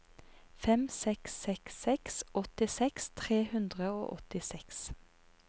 fem seks seks seks åttiseks tre hundre og åttiseks